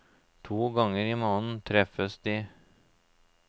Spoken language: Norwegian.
To ganger i måneden treffes de.